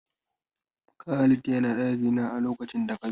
Khalid ya na ɗakina a lokacin da ka zo.